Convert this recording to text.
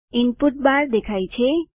input bar દેખાય છે